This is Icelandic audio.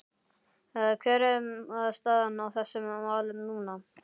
Hver er staðan á þessum málum núna?